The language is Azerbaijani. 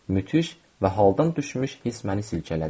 Müthiş və haldan düşmüş hiss məni silkələdi.